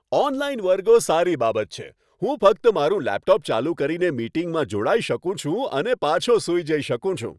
Online વર્ગો સારી બાબત છે. હું ફક્ત મારું લેપટોપ ચાલુ કરીને મીટિંગમાં જોડાઈ શકું છું અને પાછો સૂઈ જઈ શકું છું.